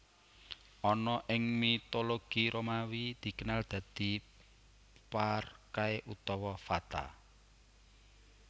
Ana ing mitologi Romawi dikenal dadi Parkae utawa Fata